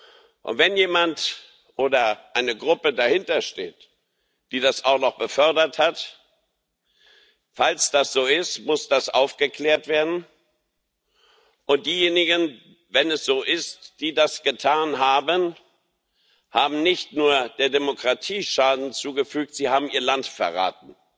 Und wenn jemand oder eine Gruppe dahinter steht, die das auch noch befördert hat Falls das so ist, muss das aufgeklärt werden, und diejenigen wenn es so ist die das getan haben, haben nicht nur der Demokratie Schaden zugefügt, sie haben ihr Land verraten,